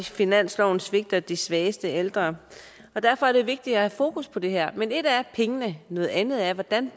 finansloven svigter de svageste ældre derfor er det vigtigt at have fokus på det her men et er pengene noget andet er hvordan